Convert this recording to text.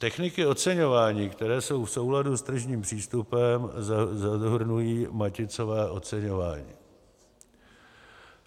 Techniky oceňování, které jsou v souladu s tržním přístupem, zahrnují maticové oceňování;